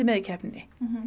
í keppninni